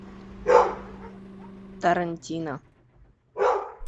тарантино